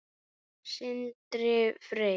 Sindri Freyr.